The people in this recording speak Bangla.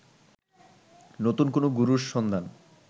নতুন কোনো গুরুর সন্ধান